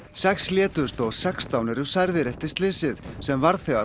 sex létust og sextán eru særðir eftir slysið sem varð þegar